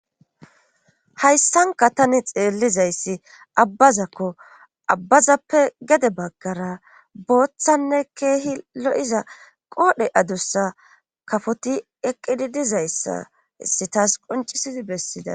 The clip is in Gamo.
hayssanka tani xeellizayssi abbazakko abbazappe gede baggara booththanne keehi lo7iza qoodhe adussa kafoti eqqidi dizayssa issi taas qoncisidi bessida